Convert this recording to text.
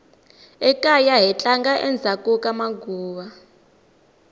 ekaya hi tlanga endzhaku ka maguva